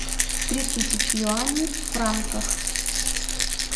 три тысячи юаней в франках